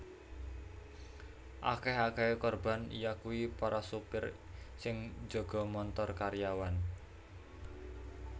Akèh akèhé korban yakuwi para supir sing njaga montor karyawan